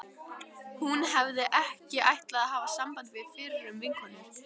Hún hafði ekki ætlað að hafa samband við fyrrum vinkonur